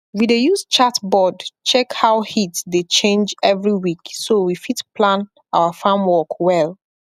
we dey use chart board check how heat dey change every week so we fit plan our farm work well